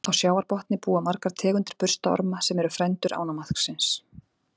Á sjávarbotni búa margar tegundir burstaorma, sem eru frændur ánamaðksins.